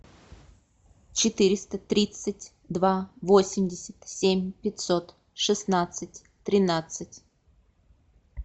четыреста тридцать два восемьдесят семь пятьсот шестнадцать тринадцать